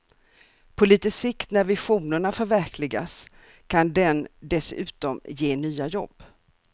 På lite sikt när visionerna förverkligas kan den dessutom ge nya jobb.